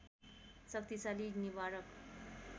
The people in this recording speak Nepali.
शक्तिशाली निवारक